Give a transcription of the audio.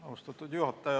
Austatud juhataja!